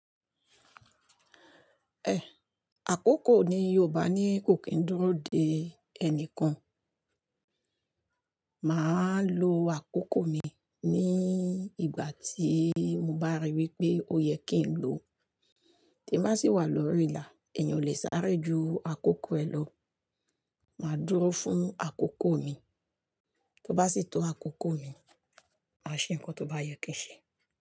Ẹ̀ àkókò ní Yorùbá ni kò kí n dúró de ẹnìkan. Máa lo àkókò mi ní ìgbà tí mo bá ríi wí pé ó yẹ kí n lo. Tí bá sì wà lórí ìlà, èèyàn ò lè sáré ju àkókò ẹ̀ lọ. Máa dúró fún àkókò mi, tó bá sì tó àkókò mi, màá ṣe nǹkan tó bá yẹ kí n ṣe.